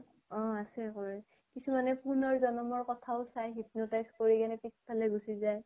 অ । আছে কৰে । কিছুমানে পুনৰ জন্মৰ কথা ও চাই hypnotize কৰি কেনে পিছ্পেফালে গুছি যায়